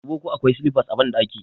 Dubo ko akwai silifas a ɓandaki!